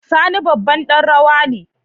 Sani babban dan rawa ne.